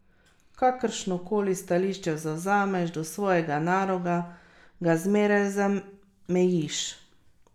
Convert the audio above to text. Kakršnokoli stališče zavzameš do svojega naroda, ga zmeraj zamejiš.